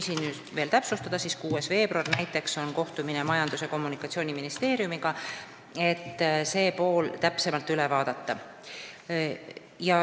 Näiteks 6. veebruaril on kohtumine Majandus- ja Kommunikatsiooniministeeriumiga, et see pool täpsemalt üle vaadata.